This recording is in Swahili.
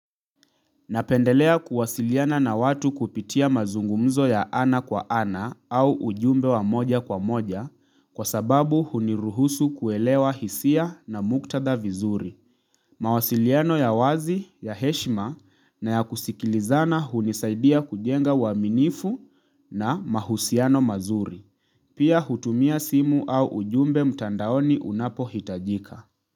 Napendelea kuwasiliana na watu kupitia mazungumzo ya ana kwa ana au ujumbe wa moja kwa moja kwa sababu huniruhusu kuelewa hisia na muktadha vizuri. Mawasiliano ya wazi, ya heshima na ya kusikilizana hunisaidia kujenga uaminifu na mahusiano mazuri. Pia hutumia simu au ujumbe mtandaoni unapohitajika.